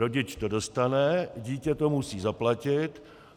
Rodič to dostane, dítě to musí zaplatit.